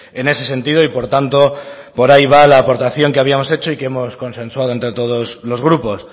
en ese sentido y por tanto por ahí va la aportación que habíamos hecho y que hemos consensuado entre todos los grupos